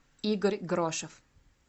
игорь грошев